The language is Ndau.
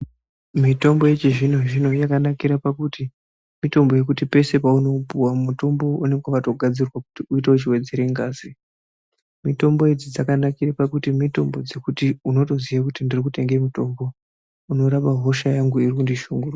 Mitombo yechizvino zvino yakanakira pakuti mitombo yekuti peshe paunoipuwa mitombo uyu unenge wakatogadzirwa kuti uite wechiwedzera ngazi. mitombo idzi dzakanakira pakuti unotoziya kuti urikutenga mutombo unorapa hosha yangu irikundishungurudza.